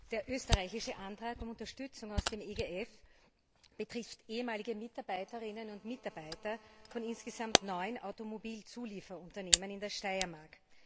Herr Präsident! Der österreichische Antrag um Unterstützung aus dem EGF betrifft ehemalige Mitarbeiterinnen und Mitarbeiter von insgesamt neun Automobilzulieferunternehmen in der Steiermark.